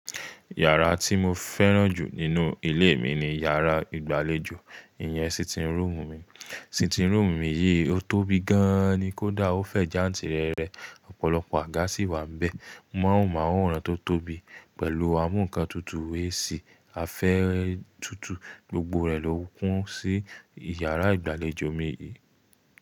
Yàrá tí mo fẹ́ràn jù nínú ilé mi ni yàrá ìgbàlejò, ìyẹn sitting room mi. Sitting room mi yìí ó tóbi gan ni kó dà, ó fẹ̀ jántì rẹ́rẹ́, ọ̀pọ̀lọpọ̀ àga sì wà níbẹ̀. Móhùnmáwòrán tó tóbi pẹ̀lú amú ǹkan tutù AC, afẹ́ tutù, gbogbo rẹ̀ ló kún sí yàrá ìgbàlejò mi yìí.